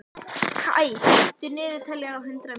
Kaj, stilltu niðurteljara á hundrað mínútur.